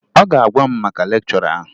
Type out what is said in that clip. Ọ ga-agwa m maka lekchọra ahụ